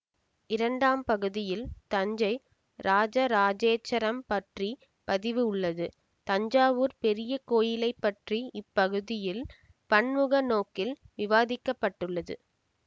இரண்டாம் பகுதியில் தஞ்சை இராஜராஜேச்சரம் பற்றி பதிவு உள்ளது தஞ்சாவூர் பெரிய கோயிலைப் பற்றி இப்பகுதியில் பன்முகநோக்கில் விவாதிக்கப்பட்டுள்ளது